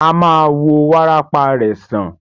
A ma wo wárápá rẹ̀ sàn.